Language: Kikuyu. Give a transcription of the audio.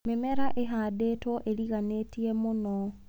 Mĩmera ĩhandĩtwo ĩriganĩtie mũno.